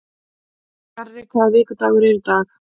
Garri, hvaða vikudagur er í dag?